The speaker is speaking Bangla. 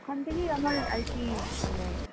ওখান থেকে আমার আর কি, মানে